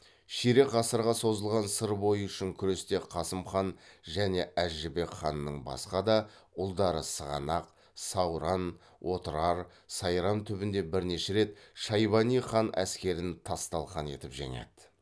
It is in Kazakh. ширек ғасырға созылған сыр бойы үшін күресте қасым хан және әз жәнібек ханның басқа да ұлдары сығанақ сауран отырар сайрам түбінде бірнеше рет шайбани хан әскерін тас талқан етіп жеңеді